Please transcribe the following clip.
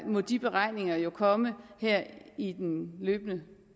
må de beregninger jo komme her i den løbende